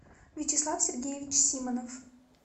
вячеслав сергеевич симонов